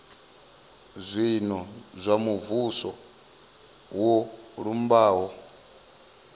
zwino zwa muvhuso zwo lumbaho